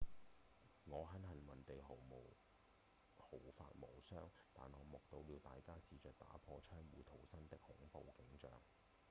「我很幸運地毫髮無傷但我目睹了大家試著打破窗戶逃生的恐怖景象」